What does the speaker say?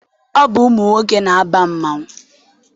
Ọ bụ ụmụ nwoke na-aba mmanwụ.